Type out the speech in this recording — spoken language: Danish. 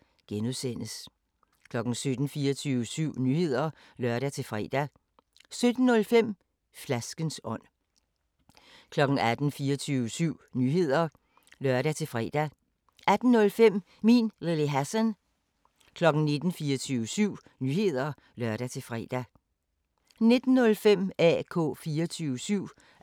01:05: Nattevagten, fortsat (lør-fre) 02:00: 24syv Nyheder (lør-fre) 02:05: Nattevagten, fortsat (lør-fre) 03:00: 24syv Nyheder (lør-fre) 03:05: Råbånd (lør-søn) 04:00: 24syv Nyheder (lør-fre) 04:05: Nattevagten – highlights